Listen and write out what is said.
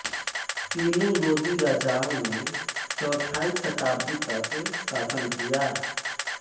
तीनों लोदी राजाओं ने चौथाई शताब्दी तक शासन किया